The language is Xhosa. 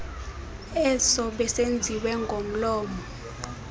eso besenziwe ngomlomo